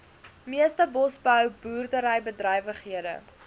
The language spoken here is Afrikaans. meeste bosbou boerderybedrywighede